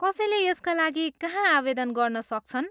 कसैले यसका लागि कहाँ आवेदन गर्न सक्छन्?